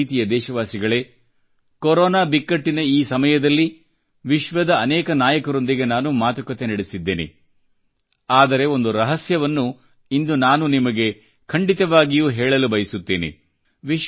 ನನ್ನ ಪ್ರೀತಿಯ ದೇಶವಾಸಿಗಳೇ ಕೊರೊನಾ ಬಿಕ್ಕಟ್ಟಿನ ಈ ಸಮಯದಲ್ಲಿ ವಿಶ್ವದ ಅನೇಕ ನಾಯಕರೊಂದಿಗೆ ನಾನು ಮಾತುಕತೆ ನಡೆಸಿದ್ದೇನೆ ಆದರೆ ಒಂದು ರಹಸ್ಯವನ್ನು ಇಂದು ನಾನು ನಿಮಗೆ ಖಂಡಿತವಾಗಿಯೂ ಹೇಳಲು ಬಯಸುತ್ತೇನೆ